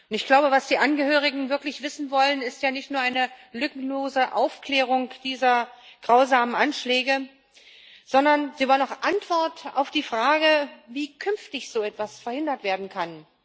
Ich glaube, was die Angehörigen wirklich wissen wollen, ist ja nicht nur eine lückenlose Aufklärung dieser grausamen Anschläge, sondern sie wollen auch Antwort auf die Frage, wie so etwas künftig verhindert werden kann.